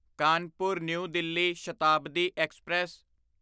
Kanpur New Delhi Shatabdi express